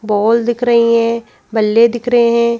बोल दिख रही हैं बल्ले दिख रहे हैं।